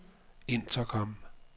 intercom